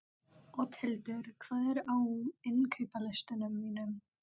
Oddhildur, hvað er á innkaupalistanum mínum?